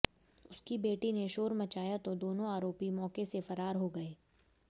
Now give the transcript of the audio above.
उसकी बेटी ने शोर मचाया तो दोनों आरोपी मौके से फरार हो गए